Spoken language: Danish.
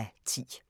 (8:10)